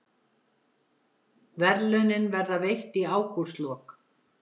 Verðlaunin verða veitt í ágústlok